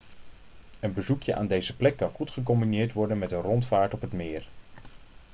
een bezoekje aan deze plek kan goed gecombineerd worden met een rondvaart op het meer